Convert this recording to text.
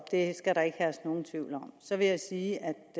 det skal der ikke herske nogen tvivl om så vil jeg sige at